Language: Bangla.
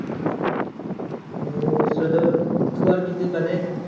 উম এসেছিলো তো তুই আর বিদ্যুৎ বাদে।